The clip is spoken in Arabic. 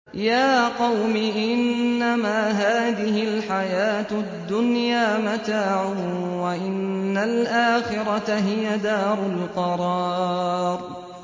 يَا قَوْمِ إِنَّمَا هَٰذِهِ الْحَيَاةُ الدُّنْيَا مَتَاعٌ وَإِنَّ الْآخِرَةَ هِيَ دَارُ الْقَرَارِ